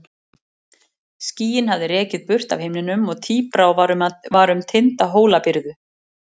Skýin hafði rekið burt af himninum og tíbrá var um tinda Hólabyrðu.